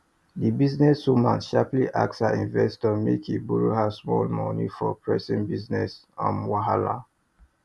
di business woman sharply ask her investor make e borrow her small money for pressing business um wahala